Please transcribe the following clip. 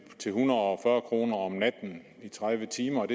en hundrede og fyrre kroner om natten i tredive timer